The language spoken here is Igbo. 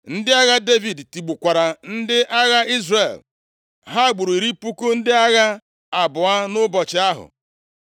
Ndị agha Devid tigbukwara ndị agha Izrel. Ha gburu iri puku ndị agha abụọ nʼụbọchị ahụ.